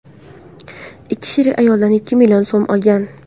Ikki sherik ayoldan ikki million so‘m olgan.